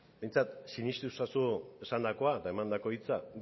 behintzat sinestu ezazu esandakoa eta emandako hitza